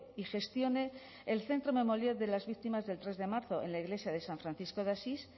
y gestione el centro memorial de las víctimas del tres de marzo en la iglesia de san francisco de asís